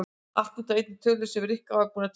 Allt út af einni tölu sem Rikka var búin að týna.